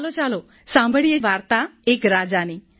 ચાલો ચાલો સાંભળીએ વાર્તા એક રાજાની